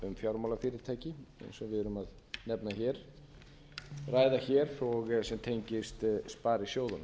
fjármálafyrirtæki eins og við erum ræða hér sem tengist sparisjóðunum